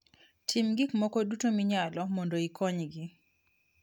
Tim gik moko duto minyalo mondo ikonygi.